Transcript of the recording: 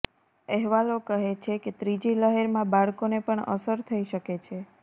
અહેવાલો કહે છે કે ત્રીજી લહેરમાં બાળકોને પણ અસર થઈ શકે છે